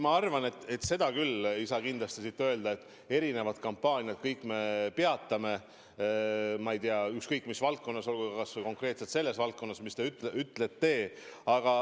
Ma arvan, et seda küll ei saa kindlasti öelda, et me erinevad kampaaniad kõik peatame – ma ei tea, ükskõik mis valdkonnas, olgu või konkreetselt selles valdkonnas, millest te räägite.